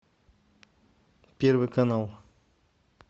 первый канал